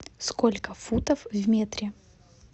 сколько футов в метре